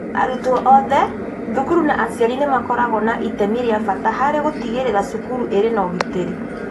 Arutwo othe, thukuru na aciari nĩ makoragwo na itemi rĩa bata harĩ gũtigĩrĩra cukuru irĩ na ũgitĩri